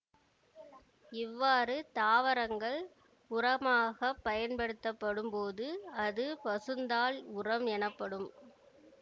இவ்வாறு தாவரங்கள் உரமாகப் பயன்படுத்தப்படும்போது அது பசுந்தாள் உரம் எனப்படும்